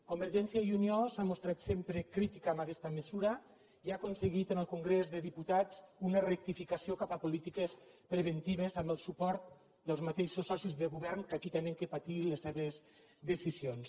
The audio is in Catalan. convergència i unió s’ha mostrat sempre crítica amb aquesta mesura i ha aconseguit en el congrés dels diputats una rectificació cap a polítiques preventives amb el suport dels mateixos socis de govern que aquí han de patir les seves decisions